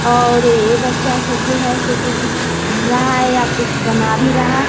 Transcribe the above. और ये बच्चा सब जो है जो कि कुछ पढ़ रहा है या कुछ बना भी रहा है।